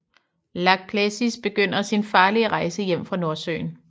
Lāčplēsis begynder sin farlige rejse hjem fra Nordsøen